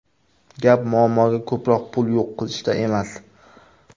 Gap muammoga ko‘proq pul yo‘q qilishda emas.